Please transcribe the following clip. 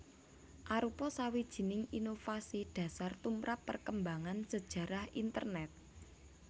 arupa sawijining inovasi dhasar tumrap perkembangan sajarah Internèt